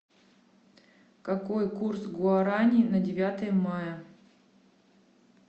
какой курс гуарани на девятое мая